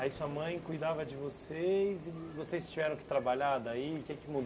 Aí sua mãe cuidava de vocês e vocês tiveram que trabalhar daí? O que é que